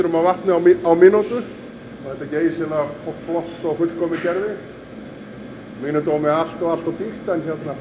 af vatni á á mínútu þetta er geysilega flott og fullkomið kerfi að mínum dómi allt of allt of dýrt en